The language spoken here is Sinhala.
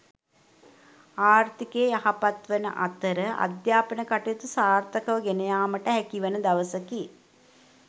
ආර්ථිකය යහපත් වන අතර අධ්‍යාපන කටයුතු සාර්ථකව ගෙනයාමට හැකිවන දවසකි.